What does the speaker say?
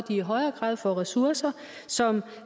i højere grad får ressourcer som